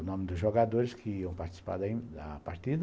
O nome dos jogadores que iam participar da da partida.